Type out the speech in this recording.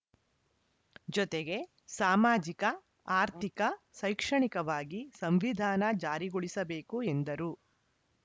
ಜೊತೆಗೆ ಸಾಮಾಜಿಕ ಆರ್ಥಿಕ ಶೈಕ್ಷಣಿಕವಾಗಿ ಸಂವಿಧಾನ ಜಾರಿಗೊಳಿಸಬೇಕು ಎಂದರು